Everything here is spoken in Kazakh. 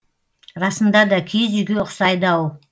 расында да киіз үйге ұқсайды ау